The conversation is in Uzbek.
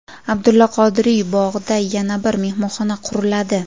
Abdulla Qodiriy bog‘ida yana bir mehmonxona quriladi.